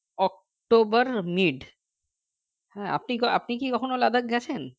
october middle হ্যাঁ আপনি আপনি কি কখনও Ladakh গেছেন